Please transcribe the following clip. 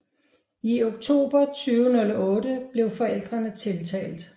I oktober 2008 blev forældrene tiltalt